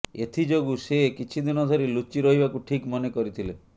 ଏଥିଯୋଗୁଁ ସେ କିଛିଦିନ ଧରି ଲୁଚି ରହିବାକୁ ଠିକ୍ ମନେକରିଥିଲେ